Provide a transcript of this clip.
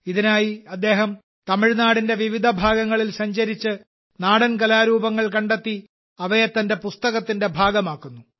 ഇതിനായി അദ്ദേഹം തമിഴ്നാടിന്റെ വിവിധ ഭാഗങ്ങളിൽ സഞ്ചരിച്ച് നാടൻ കലാരൂപങ്ങൾ കണ്ടെത്തി അവയെ തന്റെ പുസ്തകത്തിന്റെ ഭാഗമാക്കുന്നു